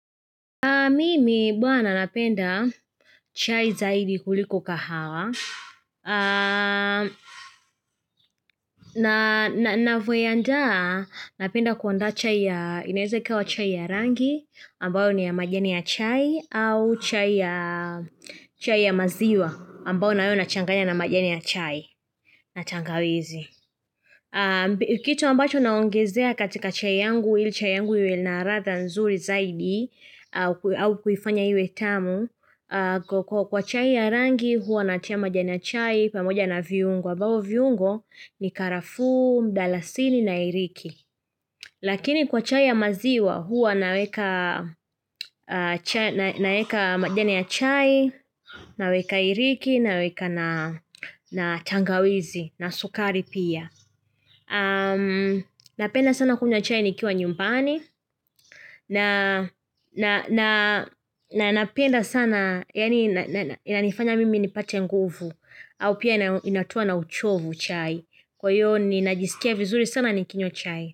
Mimi bwana napenda chai zaidi kuliko kahawa. Ninavyoiandaa napenda kuandaa chai ya, inaweza kawa chai ya rangi ambayo ni ya majani ya chai au chai ya maziwa ambayo nayo nachanganya na majani ya chai. Na tangawizi. Kitu ambacho naongezea katika chai yangu ili chai yangu iwe na ratha nzuri zaidi au kuifanya iwe tamu kwa chai ya rangi huwa natia majani ya chai pamoja na viungo ambavyo viungo ni karafuu, mdalasini na iriki Lakini kwa chai ya maziwa huwa naweka majani ya chai Naweka iriki naweka na tangawizi na sukari pia Napenda sana kunywa chai nikiwa nyumbani na napenda sana yani yanifanya mimi nipate nguvu au pia inatoa na uchovu chai Kwa hivyo ninajisikia vizuri sana nikinywa chai.